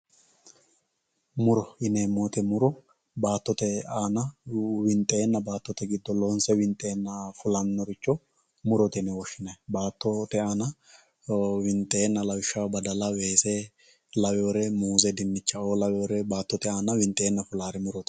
Muuro yinnemo woyitte muuro baatotte aanna winxenna baatotte giddo loonse winxenna fulanoricho muurotte yinne woshinayyi baatotte aanna winxenna lawishshaho baadalla weese laawerre muuze dinichchao laawerre baatotte aanna winxenna fularri muurotte